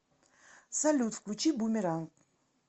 салют включи бумеранг